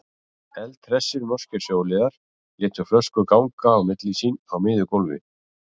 Eldhressir, norskir sjóliðar létu flösku ganga á milli sín á miðju gólfi.